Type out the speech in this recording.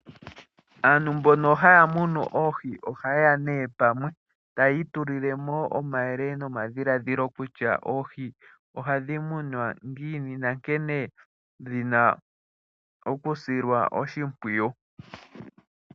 Aantu mbono haya munu oohi ohayeya nee pamwe tayii tulile mo omayele nomadhilaadhilo kutya oohi ohadhi munwa ngiini nankene dhina okusilwa oshimpwiyu.